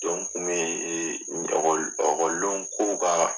kun bɛ ɔkɔli ɔkɔliden kow ka